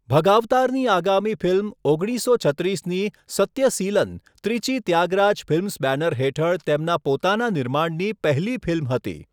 ભગાવતારની આગામી ફિલ્મ, ઓગણીસસો છત્રીસની 'સત્યસીલન' ત્રિચી ત્યાગરાજ ફિલ્મ્સ બેનર હેઠળ તેમના પોતાના નિર્માણની પહેલી ફિલ્મ હતી.